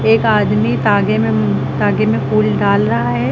एक आदमी तागे में तागे में फूल डाल रहा है।